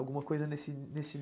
Alguma coisa nesse nesse.